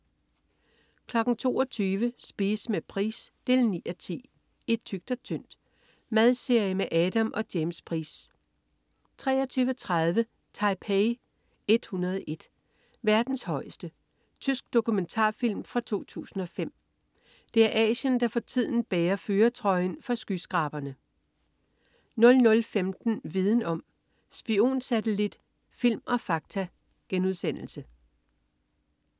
22.00 Spise med Price 9:10. "I tykt og tyndt". Madserie med Adam og James Price 23.30 Taipei 101. Verdens højeste. Tysk dokumentarfilm fra 2005. Det er Asien, der for tiden bærer førertrøjen for skyskraberne 00.15 Viden om: Spionsatellit, film og fakta*